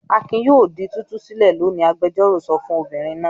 "Akin yóò di títú sílẹ̀ lónìí!" Agbẹjọ́rò sọ fún obìnrin náà.